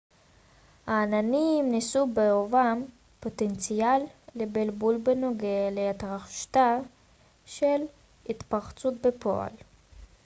העננים נשאו בחובם פוטנציאל לבלבול בנוגע להתרחשותה של התפרצות בפועל